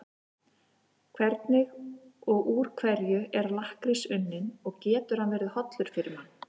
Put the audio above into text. Hvernig og úr hverju er lakkrís unninn og getur hann verið hollur fyrir mann?